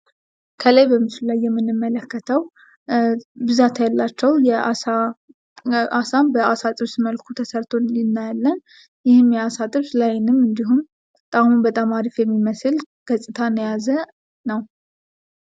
ከላይ በምስሉ ላይ የምንመለከተው ብዛት ያላቸው አሳ በአሳ ጥብስ መልኩ ተሰርት እናያለን። ይሄም የአሳ ጥብስ ለአይንም እንዲሁም ጣሙም በጣም አፊፍ የሚመስል ገፅታን የያዘ ነው።